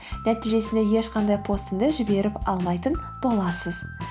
нәтижесінде ешқандай постымды жіберіп алмайтын боласыз